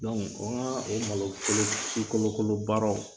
o malo si kolo kolo baaraw.